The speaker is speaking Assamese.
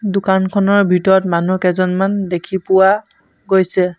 দোকানখনৰ ভিতৰত মানুহ কেইজনমান দেখি পোৱা গৈছে।